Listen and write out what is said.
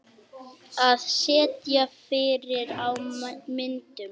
Að sitja fyrir á myndum?